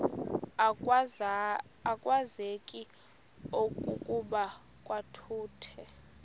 akwazeki okokuba kwakuthe